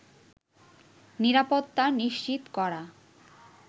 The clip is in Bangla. নিরাপত্তা নিশ্চিত করা